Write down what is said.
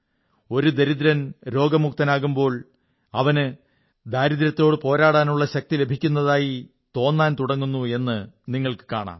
ഒരു ദരിദ്രൻ രോഗമുക്തനാകുമ്പോൾ അവന് ദാരിദ്ര്യത്തോടു പോരാടാനുള്ള ശക്തി ലഭിക്കുന്നതായി തോന്നാൻ തുടങ്ങുന്നു എന്നു നിങ്ങൾക്കു കാണാം